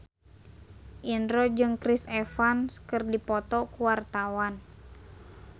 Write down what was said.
Indro jeung Chris Evans keur dipoto ku wartawan